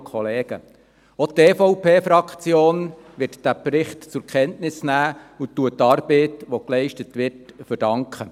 Auch die EVP-Fraktion wird diesen Bericht zur Kenntnis nehmen und verdankt die geleistete Arbeit.